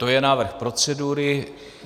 To je návrh procedury.